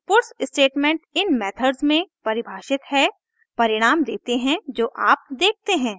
puts statement इन methods में परिभाषित है परिणाम देते है जो आप देखते हैं